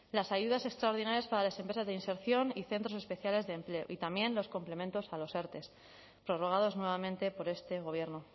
las ayudas extraordinarias para las empresas de inserción y centros especiales de empleo y también los complementos a los erte prorrogados nuevamente por este gobierno